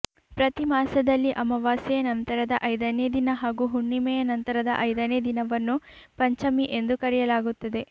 ಪ್ರತಿ ಮಾಸದಲ್ಲಿ ಅಮಾವಾಸ್ಯೆಯ ನಂತರದ ಐದನೇ ದಿನ ಹಾಗೂ ಹುಣ್ಣಿಮೆಯ ನಂತರದ ಐದನೇ ದಿನವನ್ನು ಪಂಚಮಿ ಎಂದು ಕರೆಯಲಾಗುತ್ತದೆ